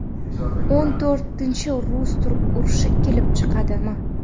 O‘n to‘rtinchi rus–turk urushi kelib chiqadimi?